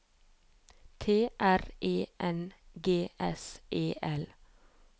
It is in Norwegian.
T R E N G S E L